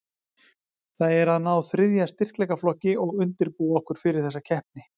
Það er að ná þriðja styrkleikaflokki og undirbúa okkur fyrir þessi keppni.